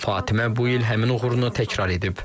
Fatimə bu il həmin uğurunu təkrar edib.